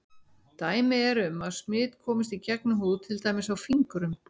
Dæmi eru um að smit komist í gegnum húð til dæmis á fingrum.